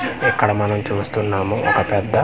ఇక్కడ మనం చూస్తున్నాము ఒక పెద్ద.